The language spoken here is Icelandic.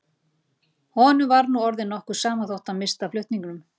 Honum var nú orðið nokkuð sama þótt hann missti af flutningunum.